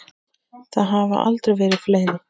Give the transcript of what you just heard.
Hafa þeir aldrei verið fleiri.